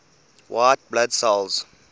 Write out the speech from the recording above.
white blood cells